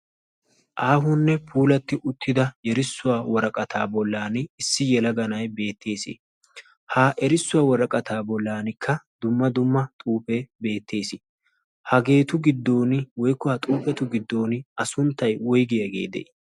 aahunne puulatti uttida yerissuwaa waraqataa bollan issi yalaganay beettees ha erissuwaa waraqataa bollankka dumma dumma xuufe beettees hageetu giddon woikkuwaa xuufetu giddon a sunttay woygiyaageede